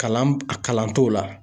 Kalan a kalan t'o la.